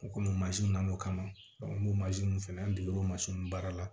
U komi mansin na na o kama an b'o fɛnɛ an degera o baara la